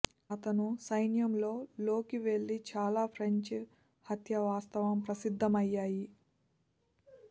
అతను సైన్యంలో లోకి వెళ్లి చాలా ఫ్రెంచ్ హత్య వాస్తవం ప్రసిద్ధమయ్యాయి